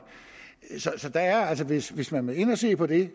så hvis hvis man vil ind og se på det